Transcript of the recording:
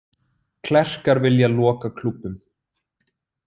Klerkar vilja loka klúbbum